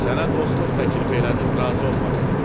Sənə dostluq təklif elədim, razı olmadın.